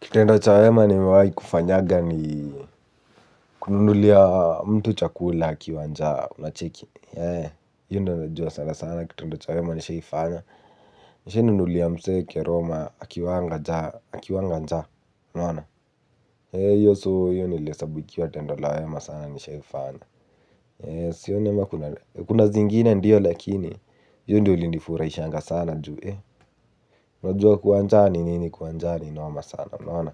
Kitendo cha wema nimewai kufanyaga ni kununulia mtu chakula akiwa njaa unacheki. Yee, hiyo ndio najua sana sana, kitendo cha wema nishaifanya. Nishainunulia mse keroma akiwanga njaa, akiwanga njaa, unaona. Yee, hiyo so hiyo nilihesabu ikiwa tendo la wema sana nishaifanya. Yee, sioni ama kuna zingine ndio lakini, hiyo ndio ilinifuraishanga sana ju ya unajua kuwa njaa ni nini kuwa njaa ni noma sana, unaona.